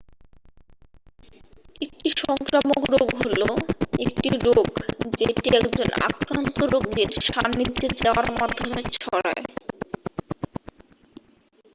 একটি সংক্রামক রোগ হলো একটি রোগ যেটি একজন আক্রান্ত রোগীর সান্নিধ্যে যাওয়ার মাধ্যমে ছড়ায়